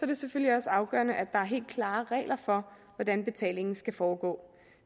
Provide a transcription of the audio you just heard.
det selvfølgelig også afgørende at der er helt klare regler for hvordan betalingen skal foregå